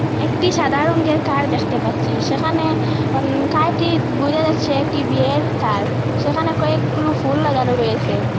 একটি সাদা রঙের কার দেখতে পাচ্ছি সেখানে অন কারটি বোঝা যাচ্ছে একটি বিয়ের কার সেখানে কয়েকগুলো ফুল লাগানো রয়েসে।